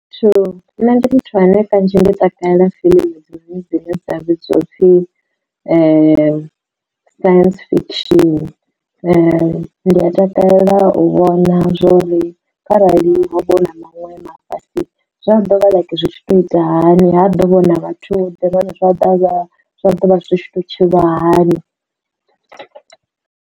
Muthu nṋe ndi muthu ane kanzhi ndi takalela fiḽimu hedzi dzine dza vhidzwa u pfi science fiction ndi a takalela u vhona zwori kharali ha vho na maṅwe mafhasi zwa ḓovha zwitshi to itisa hani ha ḓo vha huna vhathu ḓiwana zwa dovha zwa ḓovha zwi tshi to tshilwa hani.